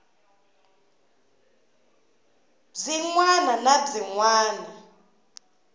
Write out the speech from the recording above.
byin wana na byin wana